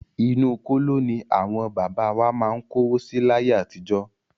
Inú kóló ní àwọn bàbá wa má ń kówó si láyé àtijọ́.